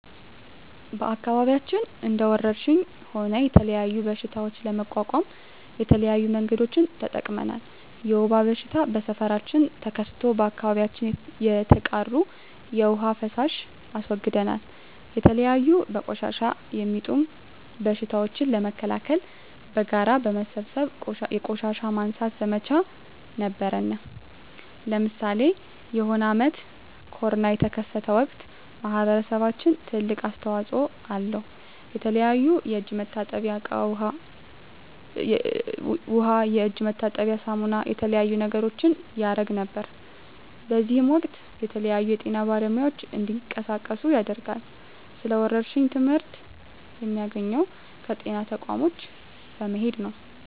በአከባቢያችን እንደ ወረርሽኝ ሆነ የተለያዩ በሽታዎች ለመቋቋም የተለያዩ መንገዶችን ተጠቅመናል የወባ በሽታ በሠፈራችን ተከስቶ በአካባቢያችን የተቃሩ የዉሃ ፋሳሽ አስወግደናል የተለያዩ በቆሻሻ የሚጡም በሽቶችን ለመከላከል በጋራ በመሠብሰብ የቆሻሻ ማንሳት ዘመቻ ነበረነ ለምሳሌ የሆነ አመት ኮርና የተከሰተ ወቅት ማህበረሰባችን ትልቅ አስተዋጽኦ አለው የተለያዩ የእጅ መታጠብያ እቃ ዉሃ የእጅ መታጠቢያ ሳሙና የተለያዩ ነገሮችን ያረግ ነበር በእዚህም ወቅትም የተለያዩ የጤና ባለሙያዎች እንዲቀሳቀሱ ያደርጋል ስለ ወረርሽኝ ትመህርት የሚያገኘው ከጤና ተቋሞች በመሄድ ነው